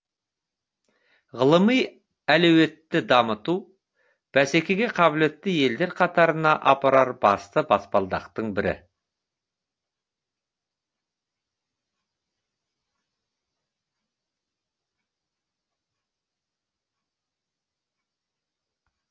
ғылыми әлеуетті дамыту бәсекеге қабілетті елдер қатарына апарар басты баспалдақтың бірі